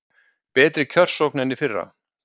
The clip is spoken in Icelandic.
Betri kjörsókn en í fyrra